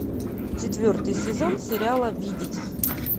четвертый сезон сериала видеть